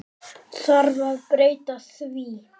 Þarf að breyta því?